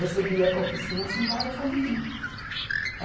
Eu subia para a oficina cinco horas da manhã.